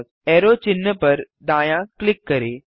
arrow चिन्ह पर दायाँ क्लिक करें